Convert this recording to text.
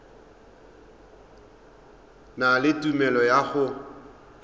na le tumelelo ya go